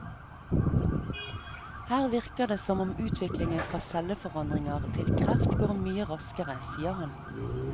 Her virker det som om utviklingen fra celleforandringer til kreft går mye raskere, sier han.